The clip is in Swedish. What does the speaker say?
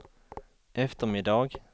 eftermiddag